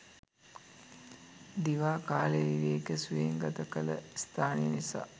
දිවා කාලය විවේක සුවයෙන් ගත කළ ස්ථානය නිසා